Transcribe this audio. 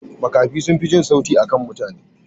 Makafi sunfi jin sauti akan mutane.